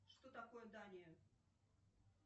что такое дания